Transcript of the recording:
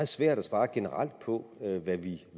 svært at svare generelt på